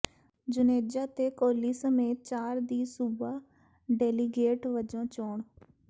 ਜੁਨੇਜਾ ਤੇ ਕੋਹਲੀ ਸਮੇਤ ਚਾਰ ਦੀ ਸੂਬਾ ਡੇਲੀਗੇਟ ਵਜੋਂ ਚੋਣ